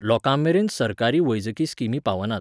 लोकांमेरेन सरकारी वैजकी स्किमी पावनात